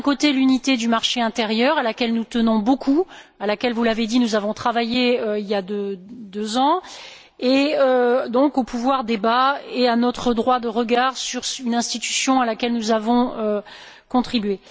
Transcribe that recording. C'est, d'un côté, l'unité du marché intérieur, à laquelle nous tenons beaucoup, à laquelle vous l'avez dit nous avons travaillé il y a deux ans, et où intervient notre droit de regard sur une institution à laquelle nous avons contribué.